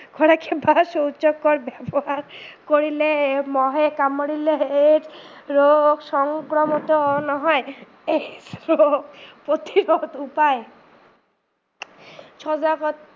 ব্যৱহাৰ কৰিলে, মহে কামোৰিলে AIDS ৰোগ সংক্ৰমত নহয় প্ৰতিৰোধৰ উপায়, সজাগত